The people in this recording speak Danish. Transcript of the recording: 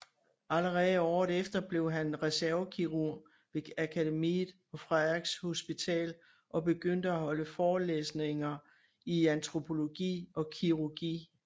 Allerede året efter blev han reservekirurg ved Akademiet og Frederiks Hospital og begyndte at holde forelæsninger i antropologi og kirurgi